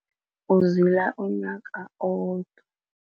Uzila umnyaka owodwa.